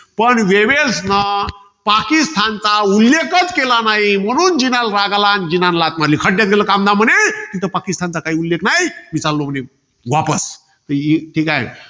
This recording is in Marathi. पण, वेवेल्सनं पाकिस्तानचा उल्लेखच केला नाही. म्हणून जीनाला राग आला, अन जीनाने लाथ मारली. खड्यात गेलं, कामधाम म्हणे. पाकिस्तानचा उल्लेख नाही, मी चाललो म्हणे, वापस. ठीकाय.